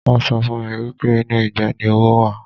Wọn sọ fún mi wípé inú ìgbẹ́ ni owó wà.